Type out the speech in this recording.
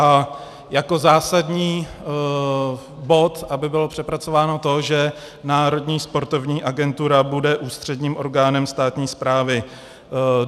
A jako zásadní bod, aby bylo přepracováno to, že Národní sportovní agentura bude ústředním orgánem státní správy.